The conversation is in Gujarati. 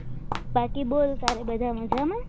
બાકી બોલ તારે બધા મજામાં